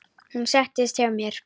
Hún settist hjá mér.